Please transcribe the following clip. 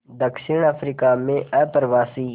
दक्षिण अफ्रीका में अप्रवासी